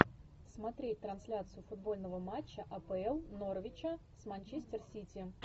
смотреть трансляцию футбольного матча апл норвича с манчестер сити